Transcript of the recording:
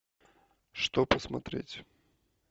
что посмотреть